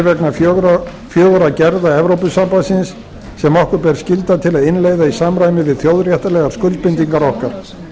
vegna fjögurra gerða evrópusambandsins sem okkur ber skylda til að innleiða í samræmi við þjóðréttarlegar skuldbindingar okkar